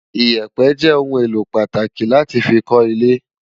Iyèpè jè oùn éló pàtáki láti fi kò ilè